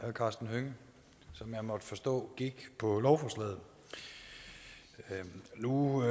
karsten hønge som jeg måtte forstå gik på lovforslaget nu